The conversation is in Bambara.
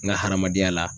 N ka hadamadenya la